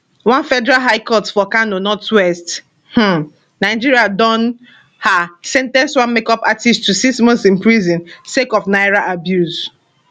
one federal high court for kano northwest um nigeria don um sen ten ce one makeup artist to six months in prison sake of naira abuse